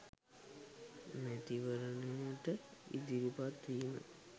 මැතිවරණයට ඉදිරිපත් වීම